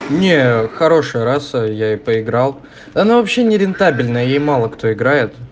не хорошая раса я ей поиграл да она вообще нерентабельна ей мало кто играет